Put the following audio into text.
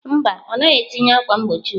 Mba, ọ naghị etinye ákwà mgbochi ugbu a.